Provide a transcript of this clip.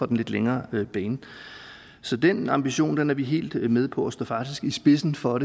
den lidt længere bane så den ambition er vi helt med på og vi står faktisk i spidsen for